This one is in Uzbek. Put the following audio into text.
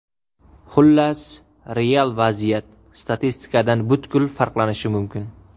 Xullas, real vaziyat statistikadan butkul farqlanishi mumkin.